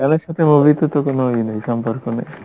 গান এর সথে movie তে তো কোনো ইয়ে নেই সম্পর্ক নেই